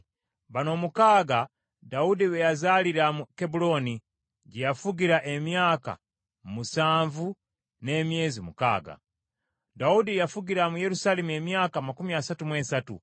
Bano omukaaga Dawudi be yazaalira mu Kebbulooni, gye yafugira emyaka musanvu n’emyezi mukaaga. Dawudi yafugira mu Yerusaalemi emyaka amakumi asatu mu esatu,